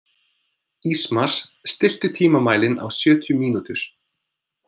Ísmar, stilltu tímamælinn á sjötíu mínútur.